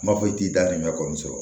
N m'a fɔ i t'i da d'i ma kɔni sɔrɔ